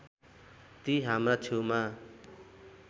ती हाम्रा छेउमा